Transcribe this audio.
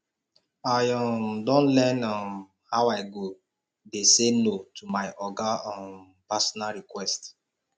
i um don learn um how i go dey sey no to my oga um personal request